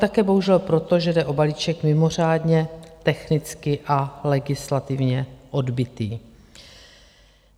Také bohužel proto, že jde o balíček mimořádně technicky a legislativně odbytý.